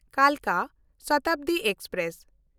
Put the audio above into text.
ᱠᱟᱞᱠᱟ Shatabdi express